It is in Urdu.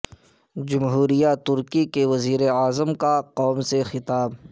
جمہوریہ ترکی کے وزیر اعظم کا قوم سے خطاب